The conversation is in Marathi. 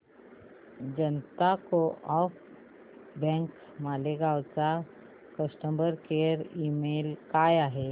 जनता को ऑप बँक मालेगाव चा कस्टमर केअर ईमेल काय आहे